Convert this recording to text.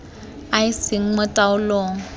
a a seng mo taolong